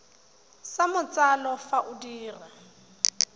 sa matsalo fa o dira